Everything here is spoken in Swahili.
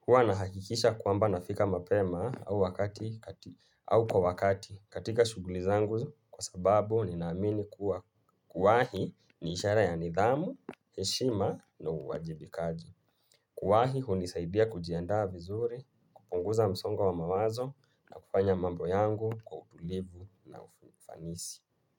Huwa nahakikisha kwamba nafika mapema au kwa wakati katika shughuli zangu kwa sababu ninaamini kuwa kuwahi ni ishara ya nidhamu, heshima na uwajibikaji. Kuwahi hunisaidia kujiandaa vizuri, kupunguza msongo wa mawazo, na kufanya mambo yangu kwa utulivu na ufanisi.